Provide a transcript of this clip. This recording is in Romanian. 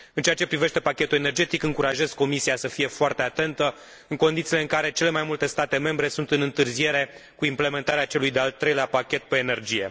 În ceea ce privește pachetul energetic, încurajez Comisia să fie foarte atentă în condițiile în care cele mai multe state membre sunt în întârziere cu implementarea celui de al treilea pachet privind energia.